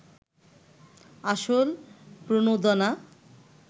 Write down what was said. আসল প্রণোদনা